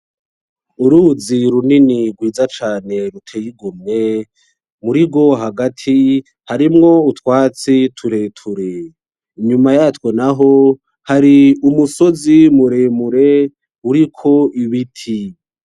Uruzi runini rwiza cane ruteye igomwe , murirwo hagati harimwo utwatsi tureture, inyuma yatwo naho hari umusozi muremure uriko ibiti.